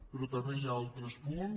però també hi ha altres punts